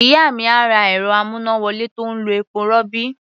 Ìyá mi á ra ẹ̀rọ-amúnáwọlé tó ń lo epo-rọ̀bì.